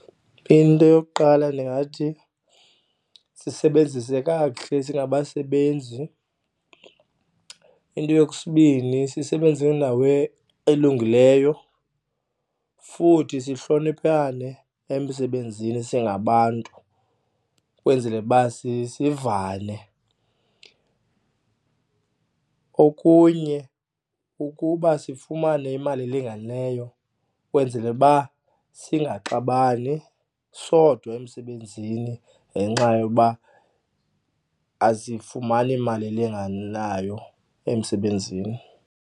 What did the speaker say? Into yokuqala ndingathi sisebenzise kakuhle singabasebenzi. Into sisebenze endawo elungileyo futhi sihloniphane emsebenzini singabantu ukwenzele uba sivane. Okunye kukuba sifumane imali elinganeyo ukwenzele uba singaxabani sodwa emsebenzini ngenxa yoba asifumani imali elinganayo emsebenzini.